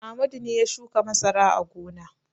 Amadu ne ya shuka masara a gona.